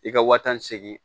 I ka waa tan seegin